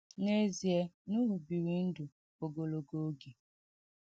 N’ezie, Nuhu biri ndụ ogologo oge.